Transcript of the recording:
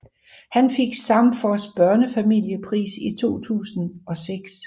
Han fik Samfos Børnefamiliepris i 2006